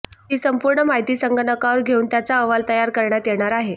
ती संपूर्ण माहिती संगणकावर घेऊन त्याचा अहवाल तयार करण्यात येणार आहे